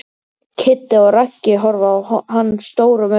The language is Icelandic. Kiddi og Raggi horfa á hann stórum augum.